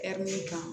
kan